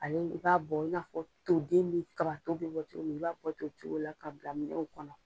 Ale i b'a bɔ, i n'a fɔ toden min kaba to bi bɔ cogo min, i b'a bɔ ten o cogo la ka bila minɛw kɔnɔ.